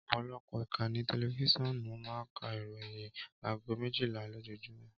Ọpọlọpọ ìkànnì tẹlifiṣionu máa ń ka ìròyìn àgó méjìlá lojójúmõ